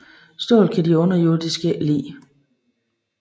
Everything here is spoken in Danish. Stål kan de underjordiske ikke lide